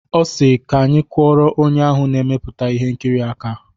Ọ sịrị "Ka anyị kụọrọ onye ahụ na-emepụta ihe nkiri aka"